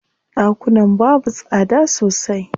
Ɗakunan babu tsada sosai.